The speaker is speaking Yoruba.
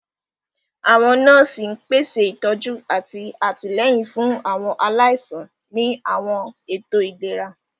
Àwọn nọ́ọ̀sì ń pèsè ìtọ́jú àti àtìlẹ́yìn fún àwọn aláìsàn ní àwọn ètò ìlera.